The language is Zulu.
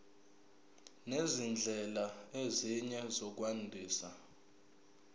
nezindlela ezinye zokwandisa